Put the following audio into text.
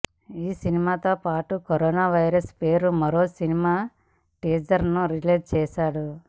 ఈ సినిమాతో పాటు కరోనా వైరస్ పేరుతో మరో సినిమా టీజర్ను రిలీజ్ చేశాడు